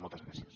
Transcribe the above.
moltes gràcies